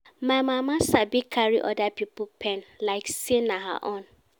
My mama sabi carry oda pipo pain like sey na her own.